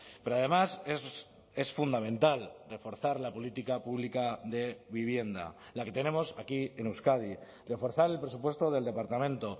pero además es fundamental reforzar la política pública de vivienda la que tenemos aquí en euskadi reforzar el presupuesto del departamento